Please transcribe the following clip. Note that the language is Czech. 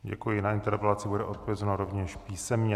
Děkuji, na interpelaci bude odpovězeno rovněž písemně.